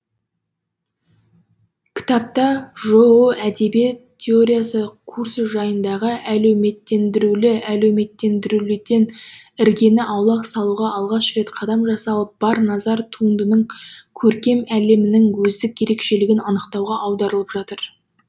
кітапта жоо әдебиет теориясы курсы жайындағы әлеуметтендірілуден іргені аулақ салуға алғаш рет қадам жасалып бар назар туындының көркем әлемінің өздік ерекшелігін анықтауға аударылып жатыр